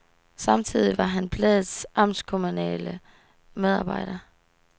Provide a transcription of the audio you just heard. Samtidig var han bladets amtskommunale medarbejder.